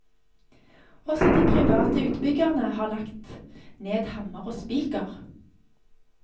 Også de private utbyggerne har lagt ned hammer og spiker.